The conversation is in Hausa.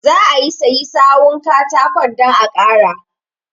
Zaa siyi sawu katakon dan a ƙara.